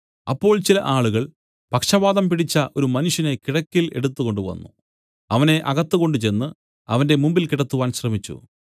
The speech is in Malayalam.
അപ്പോൾ ചില ആളുകൾ പക്ഷവാതം പിടിച്ച ഒരു മനുഷ്യനെ കിടക്കയിൽ എടുത്തുകൊണ്ടുവന്നു അവനെ അകത്ത് കൊണ്ടുചെന്ന് അവന്റെ മുമ്പിൽ കിടത്തുവാൻ ശ്രമിച്ചു